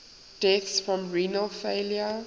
deaths from renal failure